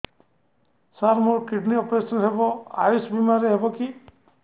ସାର ମୋର kidney operation ହେବ ଆୟୁଷ ବିମାରେ ହେବ କି